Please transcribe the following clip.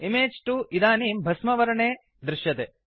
image 2 इदानिं भस्मवर्णे दृश्यते